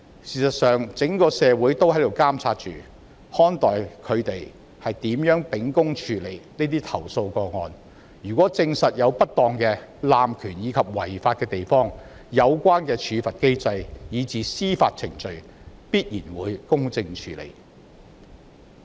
事實上，整個社會都在監察及看待他們如何秉公處理這些投訴個案，如證實有不當、濫權或違法的地方，必然會在有關處罰機制以至司法程序下得到公正處理。